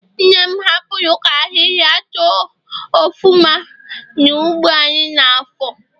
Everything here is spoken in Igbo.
Nne m hapuru ka ahihia too ofuma na ugbo anyi n'afo